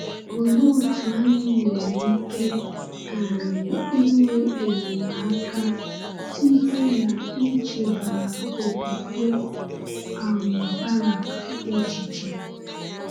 Olee otú anyị nwere ike um inwe enyemaka site n’ichebara okwukwe um Barak echiche?